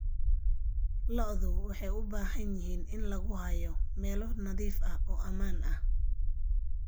Lo'du waxay u baahan yihiin in lagu hayo meelo nadiif ah oo ammaan ah.